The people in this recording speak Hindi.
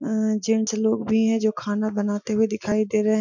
अमम जेंट्स लोग भी है जो खाना बनाते हुए दिखाई दे रहे --